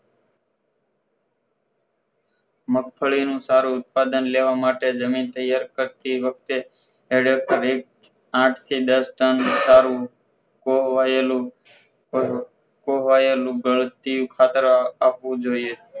મગફળીનું સારું ઉત્પાદન લેવા માટે જમીન તૈયાર કરતી વખતે હેળપ થી આઠ થી દસ ટન સારું કોવાયેલું કોવા કોવાયેલું ગળતિયું ખાતર આપવું જોઈએ